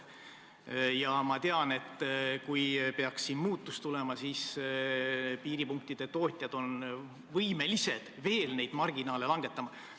Ja ma tean, et kui peaks muudatus tulema, siis piiripunktide poed on võimelised veel oma marginaale vähendama.